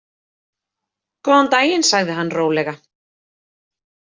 Góðan daginn, sagði hann rólega.